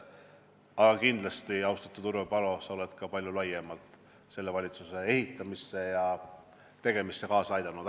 Aga kindlasti, austatud Urve Palo, sa oled ka palju laiemalt selle valitsuse ehitamisele ja tegemisele kaasa aidanud.